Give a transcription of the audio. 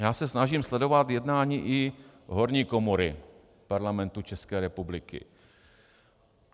Já se snažím sledovat jednání i horní komory Parlamentu České republiky.